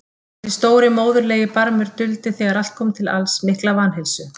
Þessi stóri móðurlegi barmur duldi þegar allt kom til alls mikla vanheilsu.